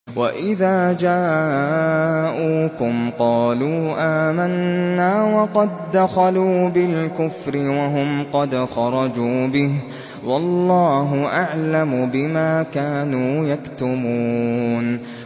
وَإِذَا جَاءُوكُمْ قَالُوا آمَنَّا وَقَد دَّخَلُوا بِالْكُفْرِ وَهُمْ قَدْ خَرَجُوا بِهِ ۚ وَاللَّهُ أَعْلَمُ بِمَا كَانُوا يَكْتُمُونَ